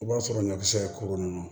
I b'a sɔrɔ ɲɔ bɛ se ka kolo ninnu